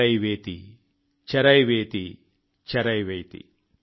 చరైవేతి చరైవేతి చరైవేతి